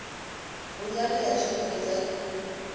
vhunzani ha tshumelo dza nnyi